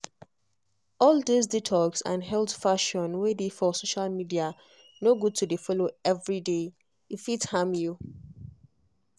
all this detox and health fashion wey dey for social media no good to dey follow every day — e fit harm you.